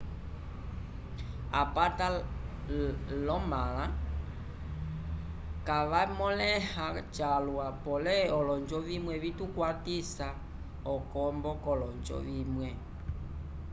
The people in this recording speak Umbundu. apata l'omãla kavamõleha calwa pole olonjo vimwe vitukwatisa okombo k'olonjo vimwe